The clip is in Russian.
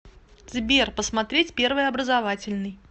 сбер посмотреть первый образовательный